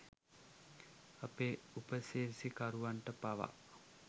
අපේ උපසිරැසිකරුවන්ට පවා